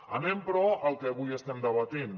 anem però al que avui estem debatent